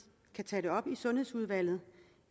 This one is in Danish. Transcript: kan tage det op i sundhedsudvalget